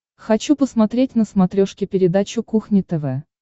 хочу посмотреть на смотрешке передачу кухня тв